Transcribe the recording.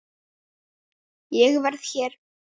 Ég verð hér